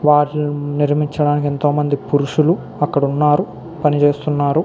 వారు నిర్మించడానికి ఎంతో మంది పురుషులు అక్కడున్నారు పనిచేస్తున్నారు.